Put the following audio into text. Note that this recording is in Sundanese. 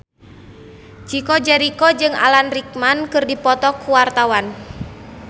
Chico Jericho jeung Alan Rickman keur dipoto ku wartawan